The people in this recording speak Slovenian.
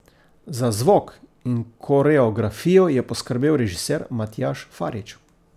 Za zvok in koreografijo je poskrbel režiser Matjaž Farič.